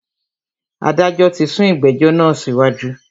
Adájọ tí sún ìgbẹ̀jọ́ náà síwájú.